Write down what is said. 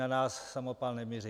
Na nás samopal nemířil.